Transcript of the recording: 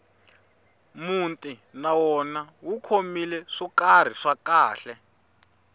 muti na wona wu khomile swo karhi swa khale